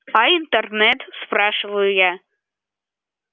а интернет спрашиваю я